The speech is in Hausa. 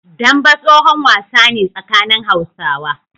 Dambe tsohon wasa ne tsakanin Hausawa.